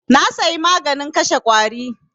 Na saya maganin kashe ƙwari.